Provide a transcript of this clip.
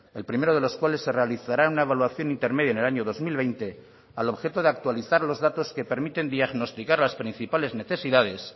el primero de los cuales se realizará una evaluación intermedia en el año dos mil veinte al objeto de actualizar los datos que permiten diagnosticar las principales necesidades